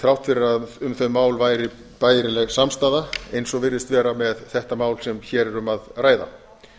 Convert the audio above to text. þrátt fyrir að um þau mál væri bærileg samstaða eins og virðist vera með þetta mál sem hér er um að ræða